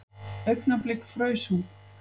Augnablik fraus hún.